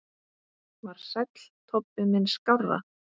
Var Sæll Tobbi minn skárra?